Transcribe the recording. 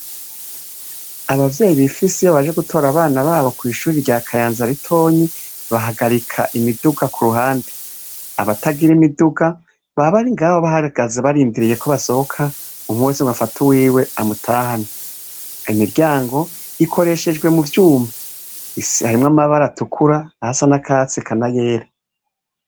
Abavyeyi bifise iyo baje gutora abana babo kw'ishuri rya Kayanza ritonyi bahagarika imiduga ku ruhande, abatagira imiduga baba bari ngaho bahagaze barindiriye ko basohoka umwe wese ngo afate uwiwe amutahane, imiryango ikoreshejwe mu vyuma harimwo amabara atukura ayasa n'akatsi eka n'ayera.